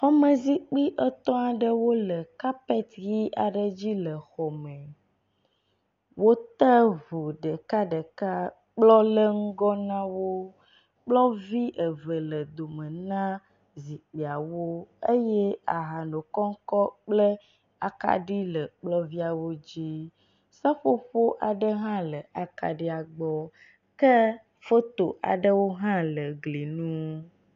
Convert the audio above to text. Xɔme zikpui etɔ̃ aɖewo le kapet ʋi aɖe dzi le xɔ me. Wote ŋu ɖekaɖeka kplɔ le ŋgɔ na wo. Kplɔvi eve le dome na zikpuiawo eye aha nokɔŋkɔŋ kple akaɖi le kplɔviawo dzi. Seƒoƒo aɖe hã le akaɖia gbɔ ke foto aɖewo hã le gli nu.